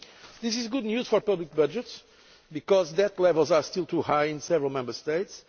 This is good news for public budgets, because debt levels are still too high in several Member States.